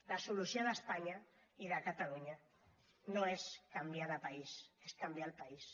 la solució d’espanya i de catalunya no és canviar de país és canviar el país